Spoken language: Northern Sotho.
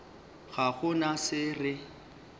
ga go na se re